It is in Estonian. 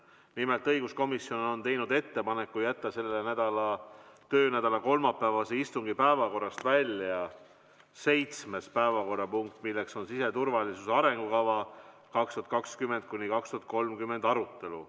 Nimelt, õiguskomisjon on teinud ettepaneku jätta selle töönädala kolmapäevase istungi päevakorrast välja seitsmes päevakorrapunkt, milleks on siseturvalisuse arengukava 2020–2030 arutelu.